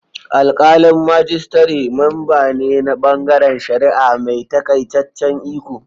Alkalin majistare memba ne na bangaren shari'a mai takaitaccen iko.